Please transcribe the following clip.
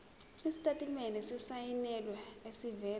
isitatimende esisayinelwe esivela